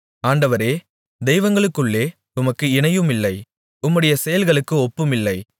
ஆண்டவரே தெய்வங்களுக்குள்ளே உமக்கு இணையுமில்லை உம்முடைய செயல்களுக்கு ஒப்புமில்லை